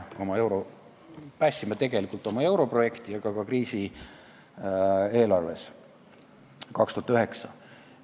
Me päästsime tegelikult oma europrojekti, aga saime 2009 üle ka eelarvekriisist.